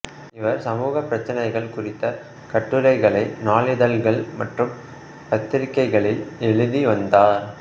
இவர் சமூக பிரச்சினைகள் குறித்த கட்டுரைகளை நாளிதழ்கள் மற்றும் பத்திரிகைகளில் எழுதி வந்தார்